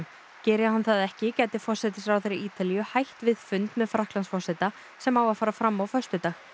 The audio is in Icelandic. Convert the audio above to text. geri hann það ekki gæti forsætisráðherra Ítalíu hætt við fund með Frakklandsforseta sem á að fara fram á föstudag